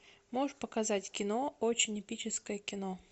можешь показать кино очень эпическое кино